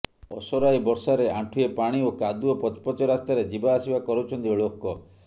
ଅସରାଏ ବର୍ଷାରେ ଆଣ୍ଠୁଏ ପାଣି ଓ କାଦୁଅ ପଚ ପଚ ରାସ୍ତାରେ ଜିବାଆସିବା କରୁଛନ୍ତି ଳୋକ